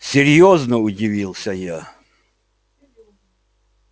серьёзно удивился я